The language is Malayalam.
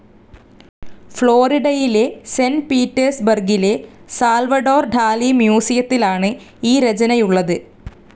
ഫ്ലോറിഡയിലെ സെൻ്റ്. പീറ്റേർസ്‌ ബർഗിലെ സാൽവഡോർ ഡാലി മ്യൂസിയത്തിലാണ് ഈ രചനയുള്ളത്.